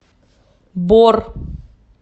бор